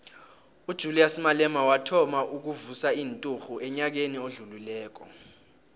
ujulias malema wathoma ukuvusa inturhu enyakeni odlulileko